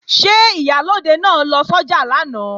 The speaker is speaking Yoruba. Ṣé Ìyálóde náà lọ sọ́jà lánàá?